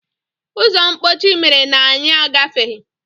Ụzọ mkpọchi mere na anyị agafeghị.